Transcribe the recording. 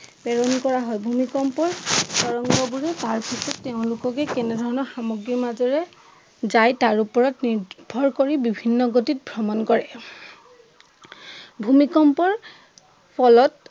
প্ৰেৰণ কৰা হয় ভূমিকম্প তৰঙ্গবোৰে তাৰপিছত তেওঁলোককে তেনেধৰণৰ সামগ্ৰীৰ মাজেৰে যায় তাৰ উপৰত নিৰ্ভৰ কৰি বিভিন্ন গতিত ভ্ৰমন কৰে ভূমিকম্পৰ ফলত